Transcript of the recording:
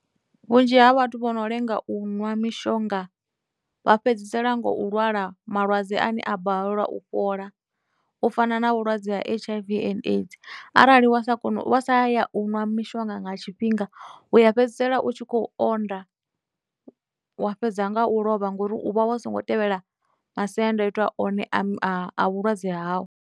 Vhunzhi ha vhathu vho no lenga u ṅwa mishonga vha fhedzisela ngo u lwala malwadze ane a balelwa u fhola u fana na vhulwadze ha H_I_V and AIDS, arali wa sa kona u, wa sa ya u nwa mishonga nga tshifhinga u ya fhedzisela u tshi khou onda, wa fhedza nga u lovha ngori u vha wa songo tevhela masiandaitwa one a vhulwadze hau.